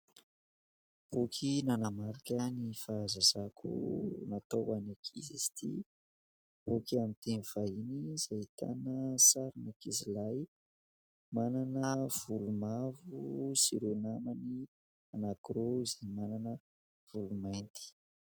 Boky nanamarika ny fahazazako natao ho an'ny ankizy izy ity, boky amin'ny teny vahiny izay ahitana sarin'ankizilahy manana volo mavo sy ireo namany anankiroa izay manana volo mainty.